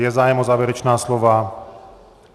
Je zájem o závěrečná slova?